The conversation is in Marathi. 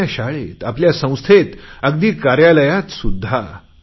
आपल्या शाळेत संस्थेत अगदी कार्यालयातसुध्दा